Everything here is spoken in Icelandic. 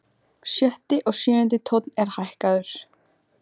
Sjötti og sjöundi tónn er hækkaður.